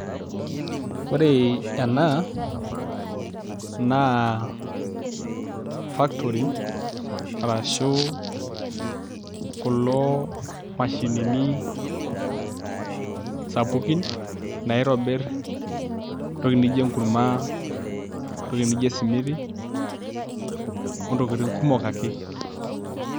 Ore ena naa factory arashu kulo mashinini sapukin naitobirr entoki nijio enkurma entoki nijo esimiti ontokitin kumok ake.